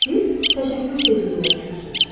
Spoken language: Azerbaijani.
Siz təşəkkür tezliyinə düşürsünüz.